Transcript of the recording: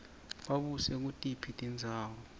babuse kutiphi tindzawo